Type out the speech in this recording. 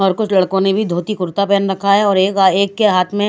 और कुछ लड़को ने भी धोती कुरता पहन रखा है और एक एक के हात में है--